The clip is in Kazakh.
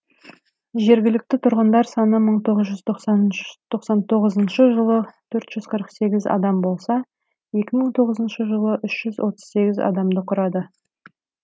жергілікті тұрғындар саны мың тоғыз жүз тоқсантоғызыншы жылы төрт жүз қырық сегіз адам болса екі мың тоғызыншы жылы үш жүз отыз сегіз адамды құрады